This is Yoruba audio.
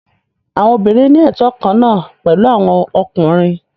Àwọn obìnrin ní ẹtọ kan náà pẹ̀lú àwọn ọkùnrin.